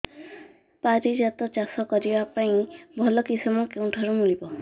ପାରିଜାତ ଚାଷ କରିବା ପାଇଁ ଭଲ କିଶମ କେଉଁଠାରୁ ମିଳିବ